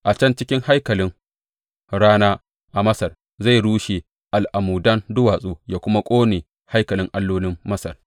A can cikin haikalin rana a Masar zai rushe al’amudan duwatsu yă kuma ƙone haikalan allolin Masar.